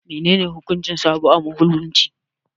Menene hukuncin sabo a Musulunci?